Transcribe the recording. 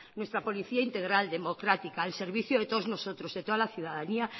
nuestra policía integral democrática al servicio de todos nosotros de toda la ciudadanía